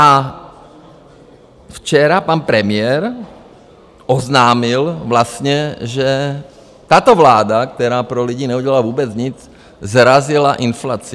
A včera pan premiér oznámil vlastně, že tato vláda, která pro lidi neudělala vůbec nic, srazila inflaci.